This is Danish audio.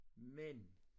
Men